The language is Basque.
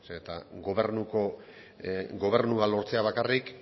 zeren eta gobernua lortzea bakarrik